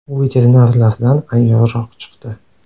U veterinarlardan ayyorroq chiqdi .